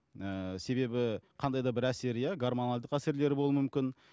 ііі себебі қандай да бір әсер иә гормоналдық әсерлер болуы мүмкін